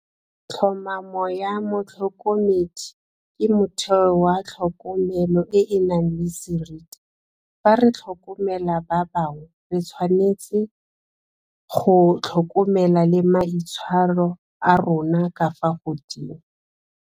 Tlhomamo ya motlhokomedi ke motheo wa tlhokomelo e e nang le seriti fa re tlhokomela ba bangwe re tshwanetse go tlhokomela le maitshwaro a rona ka fa godimo.